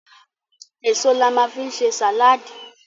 Èso la ma fi ń ṣe sàláàdì.